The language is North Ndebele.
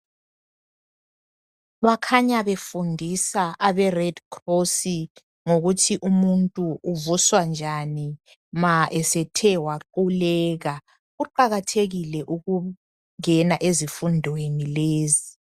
Bakhanya befundisa abe red cross ngokuthi umuntu uvuswa njani ma esethe waquleka kuqakathekile ukungena ezifundweni lezi.